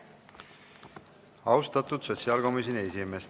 Austatud sotsiaalkomisjoni esimees!